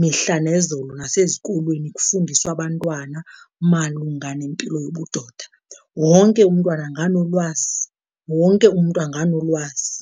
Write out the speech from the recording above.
mihla nezolo nasezikolweni kufundiswa abantwana malunga nempilo yobudoda, wonke umntwana anganolwazi, wonke umntu anganolwazi.